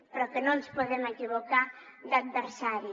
però no ens podem equivocar d’adversari